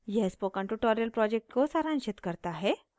यह spoken tutorial project को सारांशित करता है